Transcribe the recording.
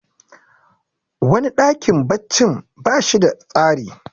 wani dakin baccin ba shi da tsari